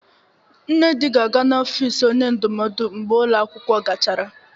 Nnedi ga-aga n'ofisi onye ndụmọdụ mgbe ụlọ akwụkwọ gachara.